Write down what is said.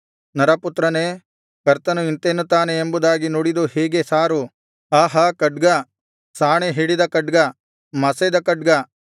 ನರಪುತ್ರನೇ ಕರ್ತನು ಇಂತೆನ್ನುತ್ತಾನೆ ಎಂಬುದಾಗಿ ನುಡಿದು ಹೀಗೆ ಸಾರು ಆಹಾ ಖಡ್ಗ ಸಾಣೆ ಹಿಡಿದ ಖಡ್ಗ ಮಸೆದ ಖಡ್ಗ